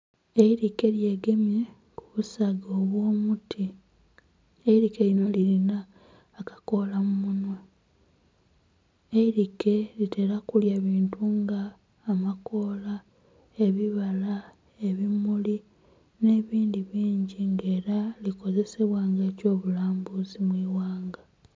Eirike lyegemye ku busaga obw'omuti, eirike lino lirina akakoola mu munhwa, eirike litera kulya bintu nga amakoola, ebibaala, ebimuli n'ebindhi bingi nga era likozesebwa nga eky'obulambuzi mu ighanga.